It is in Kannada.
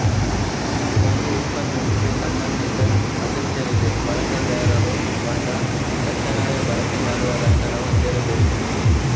ಒಂದು ಉತ್ಪನ್ನಕ್ಕೆ ಸಂಬಂಧಿತ ಅಗತ್ಯವಿದೆ ಬಳಕೆದಾರರು ಕೊಂಡ ತಕ್ಷಣವೇ ಬಳಕೆ ಮಾಡುವ ಲಕ್ಷಣ ಹೊಂದಿರಬೇಕು